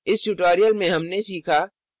इस tutorial में हमने सीखा